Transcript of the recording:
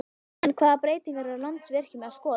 En hvaða breytingar er Landsvirkjun að skoða?